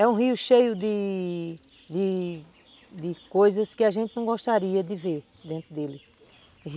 É um rio cheio de de de coisas que a gente não gostaria de ver dentro dele.